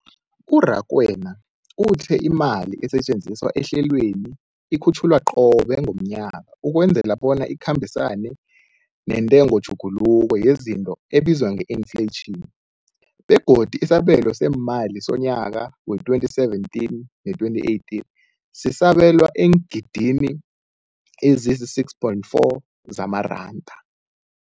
U-Rakwena uthe imali esetjenziswa ehlelweneli ikhutjhulwa qobe ngomnyaka ukwenzela bona ikhambisane nentengotjhuguluko yezinto ebizwa nge-infleyitjhini, begodu isabelo seemali somnyaka we-2017 no-2018 sisabelwa eengidni ezisi-6.4 zamaranda.